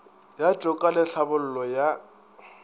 ya toka le tlhabollo ya